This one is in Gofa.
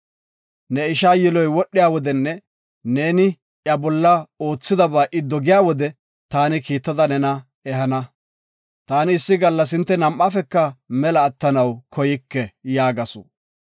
Ne ishaa yiloy wodhiya wodenne neeni iya bolla oothidaba I dogiya wode taani kiittada nena ehana. Taani issi gallas hinte nam7aafeka mela atanaw koyke” yaagasu.